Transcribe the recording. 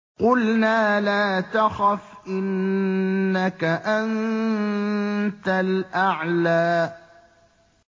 قُلْنَا لَا تَخَفْ إِنَّكَ أَنتَ الْأَعْلَىٰ